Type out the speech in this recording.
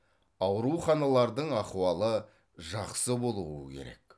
ауруханалардың ахуалы жақсы болуы керек